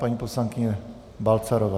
Paní poslankyně Balcarová.